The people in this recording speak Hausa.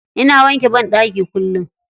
Ina wanke banɗaki kullum.